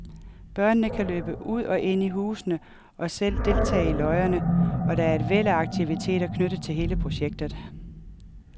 Børnene kan løbe ud og ind i husene og selv deltage i løjerne, og der er et væld af aktiviteter knyttet til hele projektet.